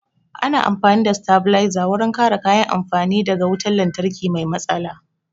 Ana amfani da sitabilizer wurin kare kayan amfani da ga wutan lantarki mai matsala